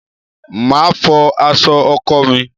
Màá fọ aṣọ ọkọ mi.